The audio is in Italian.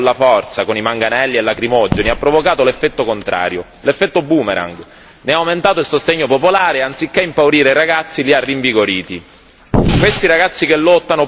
Il tentativo di reprimere la rivolta con la forza, con i manganelli e i lacrimogeni, ha provocato l'effetto contrario, l'effetto boomerang ne ha aumentato il sostegno popolare e anziché impaurire i ragazzi li ha rinvigoriti.